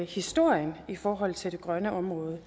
historien i forhold til det grønne område